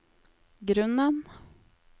grunnen